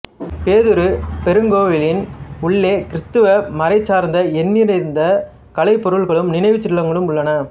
பேதுரு பெருங்கோவிலின் உள்ளே கிறித்தவ மறைசார்ந்த எண்ணிறந்த கலைப் பொருள்களும் நினைவுச் சின்னங்களும் உள்ளன